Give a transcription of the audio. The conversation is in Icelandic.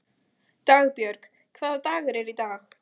Dagbjörg, hvaða dagur er í dag?